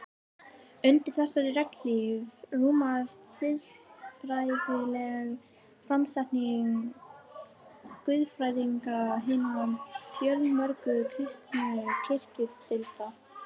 Undir þessari regnhlíf rúmast siðfræðileg framsetning guðfræðinga hinna fjölmörgu kristnu kirkjudeilda.